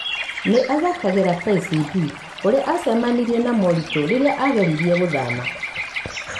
Nĩ athakagera KCB kũrĩa aacemanirie na moritũ rĩrĩa aageririe gũthama